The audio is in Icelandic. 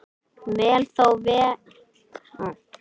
Veit þó vel hve litlar líkur eru á að þar sé nokkur sem hann þekkir.